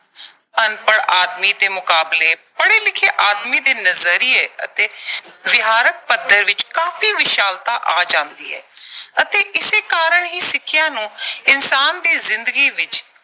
ਅਨਪੜ੍ਹ ਆਦਮੀ ਦੇ ਮੁਕਾਬਲੇ, ਪੜ੍ਹੇ ਲਿਖੇ ਆਦਮੀ ਦੇ ਨਜ਼ਰੀਏ ਅਤੇ ਵਿਹਾਰਕ ਪੱਧਰ ਵਿੱਚ ਕਾਫ਼ੀ ਵਿਸ਼ਾਲਤਾ ਆ ਜਾਂਦੀ ਹੈ ਅਤੇ ਇਸੇ ਕਾਰਨ ਹੀ ਸਿੱਖਿਆ ਨੂੰ ਇਨਸਾਨ ਦੀ ਜ਼ਿੰਦਗੀ ਵਿੱਚ